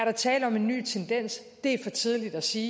er tale om en ny tendens det er for tidligt at sige